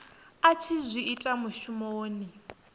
a tshi zwi ita mushumoni